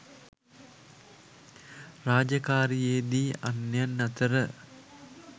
රාජකාරියේ දී අන්‍යයන් අතර